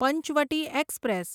Panchavati express